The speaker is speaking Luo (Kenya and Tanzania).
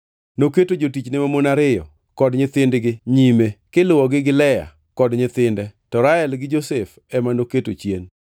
Noketo jotichne mamon ariyo kod nyithindgi nyime, kiluwogi gi Lea kod nyithinde, to Rael gi Josef ema noketo chien.